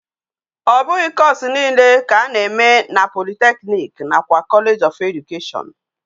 Obughi course niile ka a na eme na polytechnic na kwa college of education